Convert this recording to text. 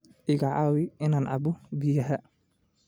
Iga caawi inaan cabbo biyaha